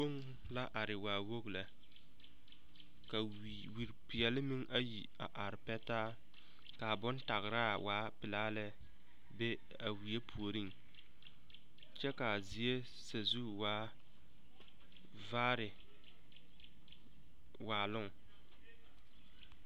Kpuŋ la are waa wogi lɛ ka wiripeɛlle meŋ ayi a are pɛ taa ka a bontagraa waa pelaa lɛ be a wie puoriŋ kyɛ ka a zie sazu waa vaare.